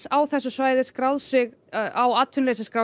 á þessu svæði skráð sig á atvinnuleysisskrá